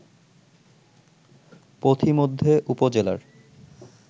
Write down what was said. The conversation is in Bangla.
পথিমধ্যে উপজেলার